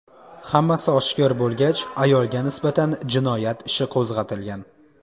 Hammasi oshkor bo‘lgach, ayolga nisbatan jinoyat ishi qo‘zg‘atilgan.